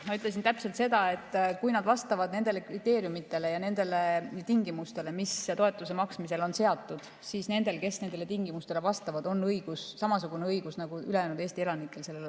Ma ütlesin täpselt seda, et kui nad vastavad nendele kriteeriumidele ja nendele tingimustele, mis toetuse maksmisel on seatud, siis nendel on samasugune õigus sellele toetusele nagu Eesti ülejäänud elanikel.